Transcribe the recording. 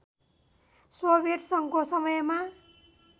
Soviet सङ्घको समयमा